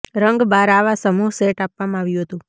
રંગ બાર આવા સમૂહ સેટ આપવામાં આવ્યું હતું